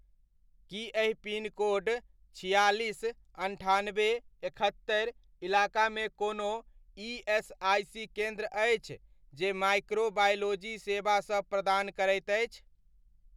की एहि पिनकोड छिआलिस, अन्ठानबे, एकहत्तरि इलाकामे कोनो ईएसआइसी केन्द्र अछि जे माइक्रो बायोलॉजी सेवा सब प्रदान करैत अछि?